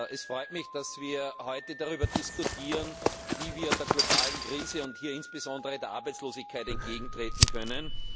Es freut mich, dass wir heute darüber diskutieren, wie wir der globalen Krise und insbesondere der Arbeitslosigkeit entgegentreten können.